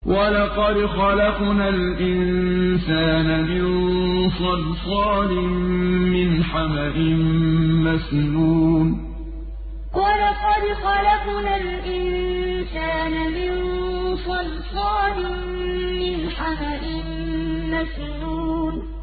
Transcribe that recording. وَلَقَدْ خَلَقْنَا الْإِنسَانَ مِن صَلْصَالٍ مِّنْ حَمَإٍ مَّسْنُونٍ وَلَقَدْ خَلَقْنَا الْإِنسَانَ مِن صَلْصَالٍ مِّنْ حَمَإٍ مَّسْنُونٍ